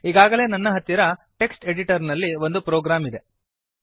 ಈಗಾಗಲೇ ನನ್ನ ಹತ್ತಿರ ಟೆಕ್ಸ್ಟ್ ಎಡಿಟರ್ ನಲ್ಲಿ ಒಂದು ಪ್ರೋಗ್ರಾಮ್ ಇದೆ